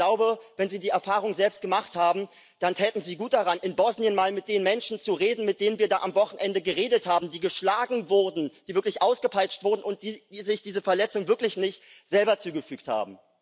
Aber ich glaube, wenn Sie die Erfahrung selbst gemacht haben, dann täten Sie gut daran, in Bosnien mal mit den Menschen zu reden, mit denen wir da am Wochenende geredet haben, die geschlagen wurden, die wirklich ausgepeitscht wurden und die sich diese Verletzungen wirklich nicht selber zugefügt haben.